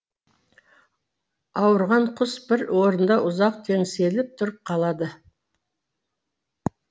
ауырған құс бір орында ұзақ теңселіп тұрып қалады